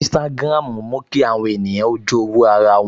Instagram ń mú kí àwọn ènìyàn ó jowu ara wọn